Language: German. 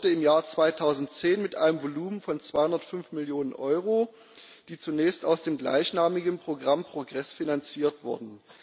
Es startete im Jahr 2010 mit einem Volumen von 205 Millionen Euro, die zunächst aus dem gleichnamigen Programm Progress finanziert wurden.